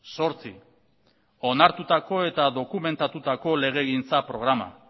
zortzi onartutako eta dokumentatutako legegintza programa